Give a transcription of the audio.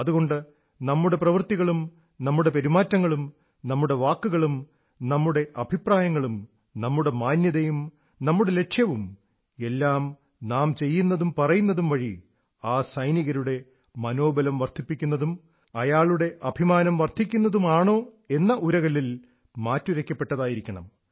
അതുകൊണ്ട് നമ്മുടെ പ്രവൃത്തികളും നമ്മുടെ പെരുമാറ്റങ്ങളും നമ്മുടെ വാക്കുകളും നമ്മുടെ അഭിപ്രായങ്ങളും നമ്മുടെ മാന്യതയും നമ്മുടെ ലക്ഷ്യവും എല്ലാം നാം ചെയ്യുന്നതും പറയുന്നതും വഴി ആ സൈനികരുടെ മനോബലം വർധിപ്പിക്കുന്നതും അയാളുടെ അഭിമാനം വർധിക്കുന്നതുമാണോ എന്ന ഉരകല്ലിൽ മാറ്റുരയ്ക്കപ്പെട്ടതായിരിക്കണം